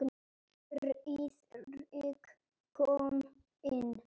Friðrik kom inn.